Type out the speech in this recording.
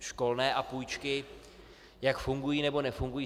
Školné a půjčky, jak fungují, nebo nefungují.